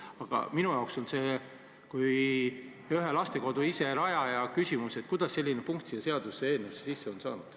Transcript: Aga minul kui ühe lastekodu rajajal on küsimus, kuidas selline punkt siia seaduseelnõusse sisse on saanud.